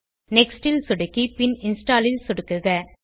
next ல் சொடுக்கி பின் இன்ஸ்டால் ல் சொடுக்குக